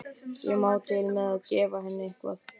Ég má til með að gefa henni eitthvað.